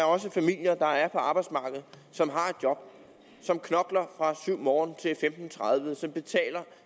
også er familier der er på arbejdsmarkedet som har et job som knokler fra syv morgen til femten tredive som betaler